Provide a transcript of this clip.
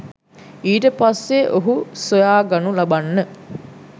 ඊට පස්සෙ ඔහු සොයාගනු ලබන්න